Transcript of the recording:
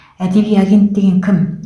әдеби агент деген кім